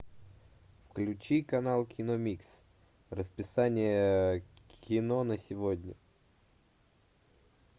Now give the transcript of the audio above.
включи канал кино микс расписание кино на сегодня